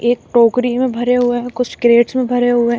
एक टोकरी में भरे हुए हैं कुछ कैरेट्स में भरे हुए हैं।